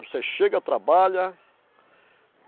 Você chega, trabalha.